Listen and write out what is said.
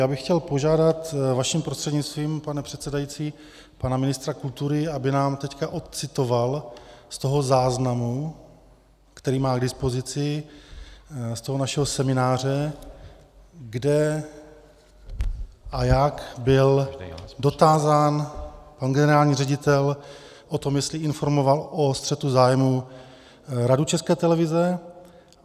Já bych chtěl požádat vaším prostřednictvím, pane předsedající, pana ministra kultury, aby nám teď odcitoval z toho záznamu, který má k dispozici z toho našeho semináře, kde a jak byl dotázán pan generální ředitel o tom, jestli informoval o střetu zájmů Radu České televize.